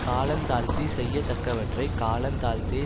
காலந்தாழ்த்தி செய்ய தக்கவற்றைக் காலந்தாழ்ந்தே